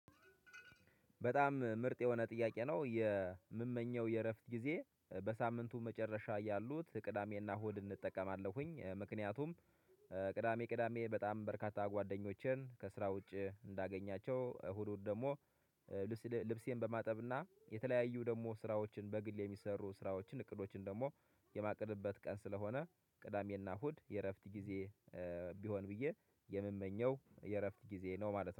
በጣም ምርጥ የሆነ ጥያቄ ነው። የምመኘው የእረፍት ጊዜ በሳምንቱ መጨረሻ ያሉት ቅዳሜና እሁድን እጠቀማለሁኝ። ምክንያቱም ቅዳሜ ቅዳሜ በጣም በርካታ ጓደኞቼን ከስራ ውጪ እንዳገኛቸው፤ እሁዱን ደግሞ ልብሴን በማጠብና የተለያዩ ደግሞ ስራዎችን በግል የሚሰሩ ስራዎችን እቅዶችን ደግሞ የማቅድበት ቀን ስለሆነ ቅዳሜና እሁድ የእረፍት ጊዜ ቢሆን ብዬ የምመኘው የእረፍት ጊዜ ነው ማለት ነው።